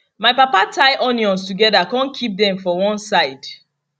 my papa tie onions together con keep them for one side